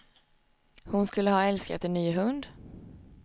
Hon skulle ha älskat en ny hund.